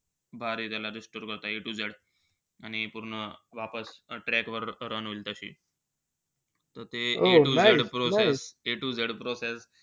भारी त्याला restore करता A to Z. आणि पूर्ण वापस track वर run होईल तशी. त ते A to Z process-a to z process,